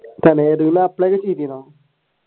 തന്നെ ഏതേലും apply ഒക്കെ ചെയ്തിരുന്നോ?